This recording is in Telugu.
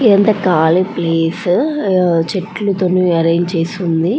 యెంత కాలి ప్లేస్ ఆహ్ చెట్లు తో ఆరెంజ్ చేసి ఉంది.